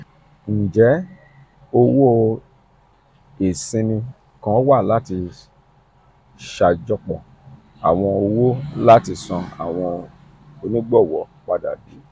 two. njẹ owo iṣimi kan wa lati ṣajọpọ awọn owo lati san awọn onigbọwọ pada bi?